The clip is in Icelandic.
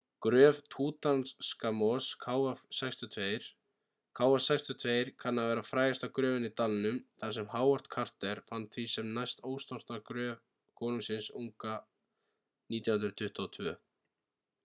gröf tútankamons kv62. kv62 kann að vera frægasta gröfin í dalnum þar sem howard carter fann því sem næst ósnortna gröf konungsins unga 1922